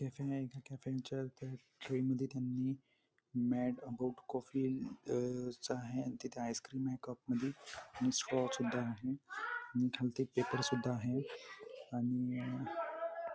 इथे कॅफे आहे इथे कॅफेच्या ट्रे मधे त्यांनी म्याड गोट कॉफी च आहे आणि तिथे आइसक्रीम आहे कप मधे आणि स्ट्रॉ सुद्धा आहे खालती पेपर सुद्धा आहे आणि --